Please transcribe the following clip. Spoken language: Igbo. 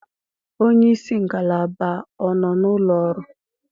Onye isi ngalaba ọ nọ n'ụlọ ọrụ?